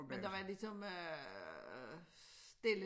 Men der var ligesom øh stille